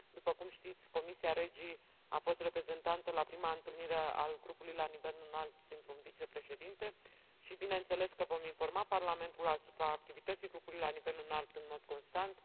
După cum știți, Comisia REGI a fost reprezentată la prima întâlnire a grupului la nivel înalt printr un vicepreședinte și bineînțeles că vom informa Parlamentul asupra activității grupului la nivel înalt în mod constant.